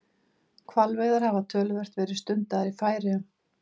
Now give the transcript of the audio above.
Hvalveiðar hafa töluvert verið stundaðar í Færeyjum.